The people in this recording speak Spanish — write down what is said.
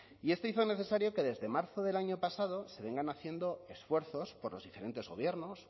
y esto hizo necesario que desde marzo del año pasado se vengan haciendo esfuerzos por los diferentes gobiernos